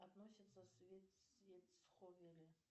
относится